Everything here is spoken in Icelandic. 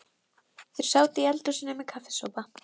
Síðan skipaði hann þjónunum að renna út vöndlinum.